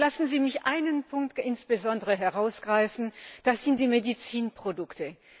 Lassen Sie mich einen Punkt insbesondere herausgreifen, das sind die Medizinprodukte.